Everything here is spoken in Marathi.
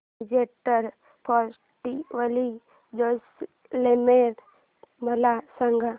डेजर्ट फेस्टिवल जैसलमेर मला सांग